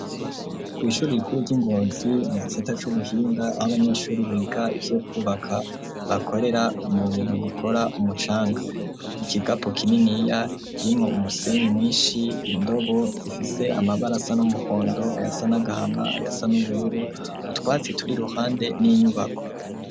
Kw'ishuri rikuru ry'i Ngozi mu gisata c'ubuhinga aho abanyeshuri biga ivyo kwubaka bakorera mu bintu bikora umucanga, ikigapo kininiya kirimwo umusenyi mwinshi, indobo zifise amabara asa n'umuhondo, ayasa n'agahama, ayasa n'ubururu, utwatsi turi iruhande n'inyubako.